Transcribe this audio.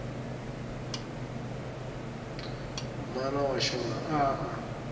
mana wa xona a a